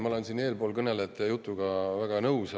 Ma olen üldiselt eelkõnelejate jutuga väga nõus.